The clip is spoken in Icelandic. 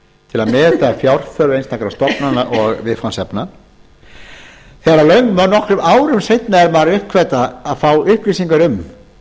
til að meta fjárþörf einstakra stofnana og viðfangsefna þegar nokkrum árum seinna er maður að uppgötva og fá upplýsingar um